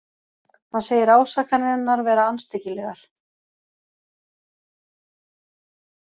Hann segir ásakanirnar vera andstyggilegar